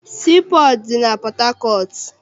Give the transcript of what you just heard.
Sii pọọtụ dị na Pọthakọọtụ.